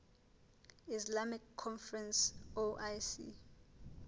islamic conference oic